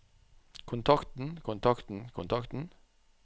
kontakten kontakten kontakten